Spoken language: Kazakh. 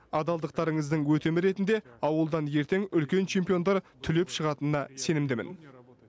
адалдықтарыңыздың өтемі ретінде ауылдан ертең үлкен чемпиондар түлеп шығатынына сенімдімін